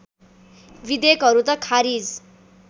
विधेयकहरू त खारिज